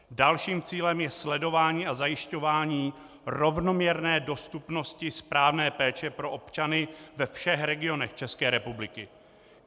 Dalším cílem je sledování a zajišťování rovnoměrné dostupnosti správné péče pro občany ve všech regionech České republiky.